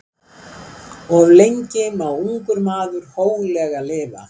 Of lengi má ungur maður hóglega lifa.